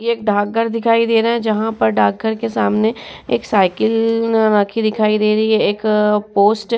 एक डाँक घर है। जहां पर डाँक के सामने एक साइकिल रखी दिखाई दे रहे और एक पोस्ट --